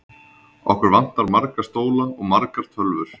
Okkur vantar marga stóla og margar tölvur.